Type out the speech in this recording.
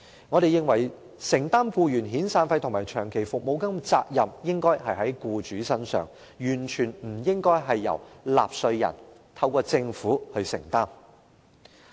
我們認為，承擔僱員遣散費和長期服務金的責任應該在僱主身上，完全不應由納稅人透過政府承擔。